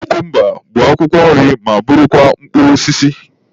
Kukumba bụ akwụkwọ nri ma bụrụkwa mkpụrụ osisi.